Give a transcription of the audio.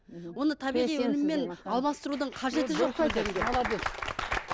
оны табиғи өніммен алмастырудың қажеті жоқ